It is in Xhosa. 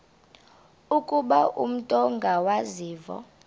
ukuba umut ongawazivo